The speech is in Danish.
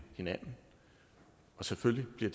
hinanden og selvfølgelig bliver